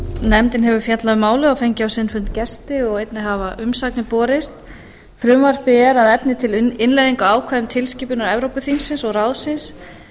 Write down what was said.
nefndin hefur fjallað um málið og fengið á sinn fund gesti og einnig hafa umsagnir borist frumvarpið er að efni til innleiðing á ákvæðum tilskipunar evrópuþingsins og ráðsins